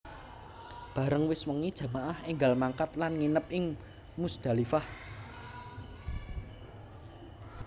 Bareng wis wengi jamaah énggal mangkat lan nginep ing Muzdalifah